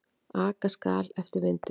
Aka skal eftir vindi.